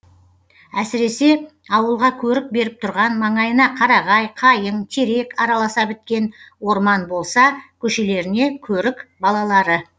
әсіресе ауылға көрік беріп тұрған маңайына қарағай қайың терек араласа біткен орман болса көшелеріне көрік балалары